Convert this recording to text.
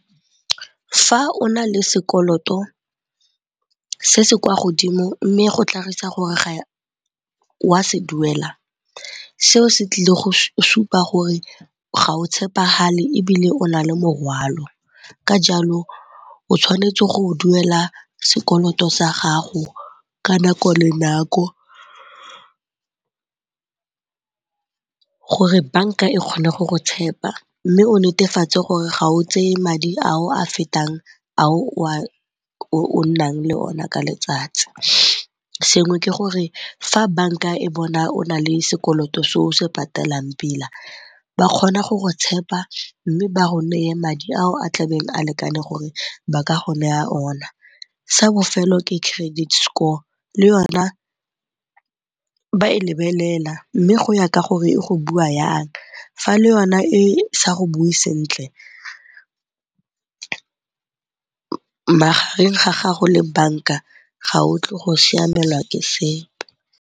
Fa o na le sekoloto se se kwa godimo mme go tlhagisa gore ga wa se duela seo se tlile go supa gore ga o tshepagale ebile o na le morwalo ka jalo o tshwanetse go duela sekoloto sa gago ka nako le nako gore banka e kgone go go tshepa. Mme o netefatse gore ga o tseye madi ao a fetang ao o nnang le ona ka letsatsi. Sengwe ke gore fa banka e bona o na le sekoloto se o se patelang pila ba kgona go go tshepa mme ba go neye madi ao a tlabeng a lekane gore ba ka go neya ona. Sa bofelo ke credit score, le yone ba e lebelela mme go ya ka gore e go bua yang fa le yona e sa go bue sentle magareng ga gago le banka ga o tlo go siamelwa ke sepe.